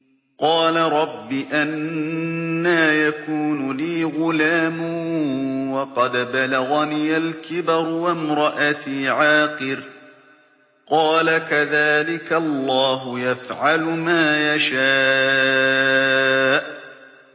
قَالَ رَبِّ أَنَّىٰ يَكُونُ لِي غُلَامٌ وَقَدْ بَلَغَنِيَ الْكِبَرُ وَامْرَأَتِي عَاقِرٌ ۖ قَالَ كَذَٰلِكَ اللَّهُ يَفْعَلُ مَا يَشَاءُ